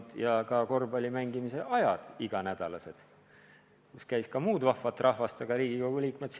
Olid ka iganädalased korvpalli mängimise ajad, kus kohal käis ka muud vahvat rahvast, mitte ainult Riigikogu liikmed.